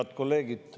Head kolleegid!